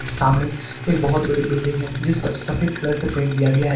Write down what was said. सामने एक बहोत बड़ी बिल्डिंग है जिस पर सफेद कलर से पेंट किया गया है।